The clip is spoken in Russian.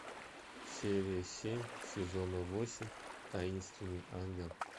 серия семь сезона восемь таинственный ангел